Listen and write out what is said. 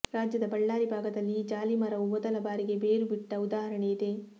ರಾಜ್ಯದ ಬಳ್ಳಾರಿ ಭಾಗದಲ್ಲಿ ಈ ಜಾಲಿ ಮರವು ಮೊದಲ ಬಾರಿಗೆ ಬೇರು ಬಿಟ್ಟ ಉದಾಹರಣೆಯಿದೆ